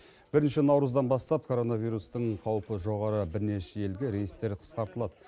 бірінші наурыздан бастап коронавирустың қаупі жоғары бірнеше елге рейстер қысқартылады